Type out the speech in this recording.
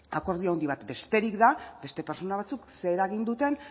akordio handi bat besterik da beste pertsona batzuek ze eragin duten